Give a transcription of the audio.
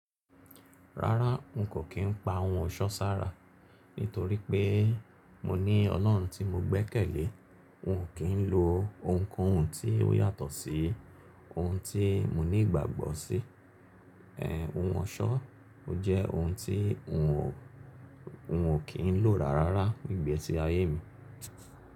Rárá, n kò kí n pa oun ọ̀ṣọ́ sára, nítorí pé mo ní Ọlọ́run tí mo gbé kèlè. N ò kí n lo ounkóhun tí ó yàtọ̀ sí oun tí mo ní ìgbàgbọ́ sí. Oun ọ̀ṣọ́ jẹ́ oun tí n ò kí n lò rárá rárá ní gbesi ayé mi.